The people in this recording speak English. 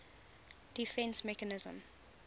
defence mechanism